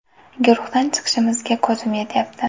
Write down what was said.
Guruhdan chiqishimizga ko‘zim yetyapti.